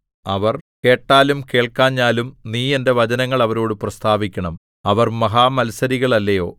അവർ കേട്ടാലും കേൾക്കാഞ്ഞാലും നീ എന്റെ വചനങ്ങൾ അവരോടു പ്രസ്താവിക്കണം അവർ മഹാമത്സരികൾ അല്ലയോ